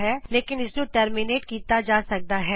ਲੇਕਨ ਇਸ ਨੂੰ ਟਰਮੀਨੇਟ ਕੀਤਾ ਜਾ ਸਕਦਾ ਹੈ